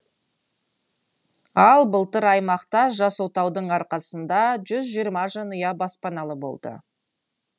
ал былтыр аймақта жас отаудың арқасында жүз жиырма жанұя баспаналы болды